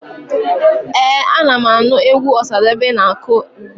Ee, ana m anụ egwu Ọsadebe na-akụ ugbua.